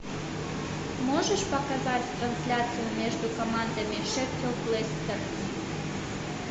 можешь показать трансляцию между командами шеффилд вестер